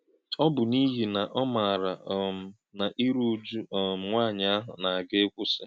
Ọ bụ̄ n’ìhí̄ nà ọ màárà̄ um nà ìrù̄ ụ̀jù̄ um nwá̄nyí̄ àhụ̄ nà - àgà̄ ị́kwụ́sị̄.